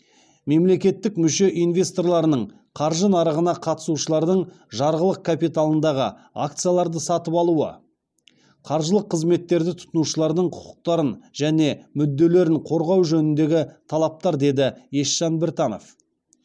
мемлекеттік мүше инвесторларының қаржы нарығына қатысушылардың жарғылық капиталындағы акцияларды сатып алуы қаржылық қызметтерді тұтынушылардың құқықтарын және мүдделерін қорғау жөніндегі талаптар деді есжан біртанов